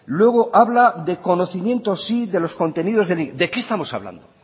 luego habla de conocimiento sí de los contenidos de qué estamos hablando